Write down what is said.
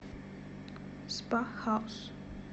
спа хаус